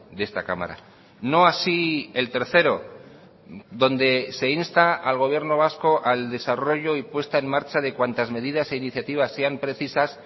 de esta cámara no así el tercero donde se insta al gobierno vasco al desarrollo y puesta en marcha de cuantas medidas e iniciativas sean precisas